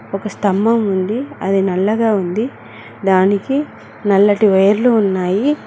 ఒక స్తంభం ఉంది అది నల్లగా ఉంది దానికి నల్లటి వైర్లు ఉన్నాయి.